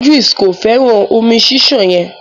Idris ko fẹràn omi ṣiṣan yen.